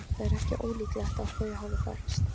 Það er ekki ólíklegt að þau hafi þekkst.